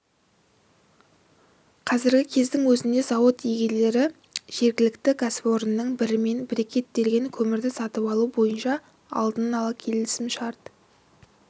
қазіргі кездің өзінде зауыт иелері жергілікті кәсіпорынның бірімен брикеттелген көмірді сатып алу бойынша алдын ала келісімшарт